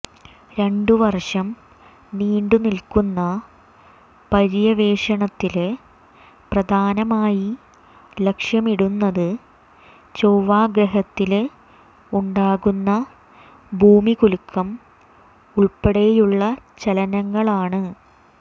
രണ്ട് വര്ഷം നീണ്ടു നില്ക്കുന്ന പര്യവേഷണത്തില് പ്രധാനമായി ലക്ഷ്യമിടുന്നത് ചൊവ്വ ഗ്രഹത്തില് ഉണ്ടാകുന്ന ഭൂമികുലുക്കം ഉള്പ്പടെയുള്ള ചലനങ്ങളാണ്